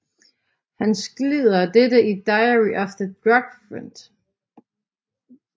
Han skildrer dette i Diary of a Drug Fiend